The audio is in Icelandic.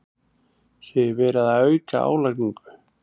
Segir verið að auka álagningu